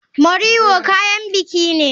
Moriwo kayan biki ne.